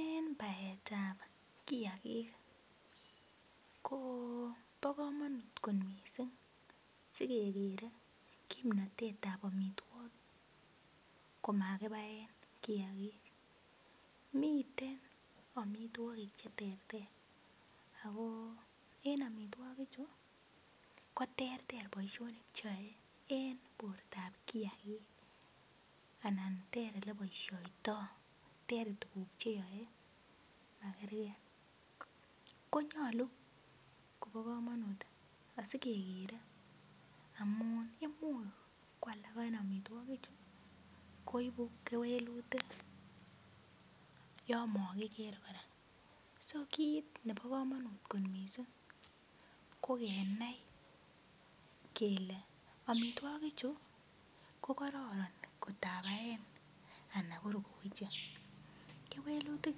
En baetab kiagik kobo komonut kot missing sikekere kimnotet ab amitwogik komakibaen kiagik miten amitwogik cheterter ako en amitwogik chu koterter boisionik cheyoe en bortab kiagik anan ter eleboisiotoo ter tuguk cheyoe makergee, konyolu kobo komonut asikekere amun imuch ko alak en amitwogik chu ko ibu kewelutik yon mokiker kora so kit nebo komonut kot missing ko kenai kele amitwogik chu kokororon ngot abaen ana kor koweche, kewelutik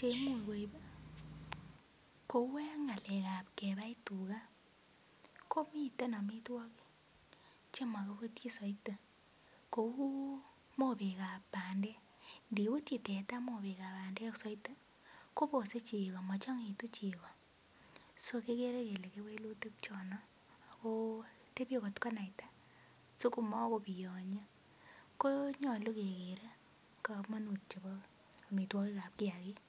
cheimuch koib ih kou en ng'alek ab kebai tuga komiten amitwogik chemokibutyin soiti kou mobek ab bandek, ndibutyi teta mobek ab bandek soiti kobose chego mochong'oitu chego so kikere kele kewelutik chono ako tebie kot konaita ko nyolu kekere komonut chebo amitwogik ab kiagik